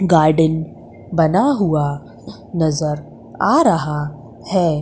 Garden बना हुआ नजर आ रहा है।